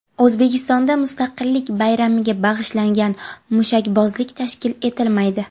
O‘zbekistonda Mustaqillik bayramiga bag‘ishlangan mushakbozlik tashkil etilmaydi.